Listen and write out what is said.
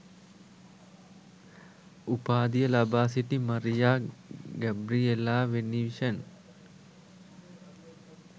උපාධිය ලබා සිටි මරියා ගැබ්රිඑලා වෙනිවිෂන්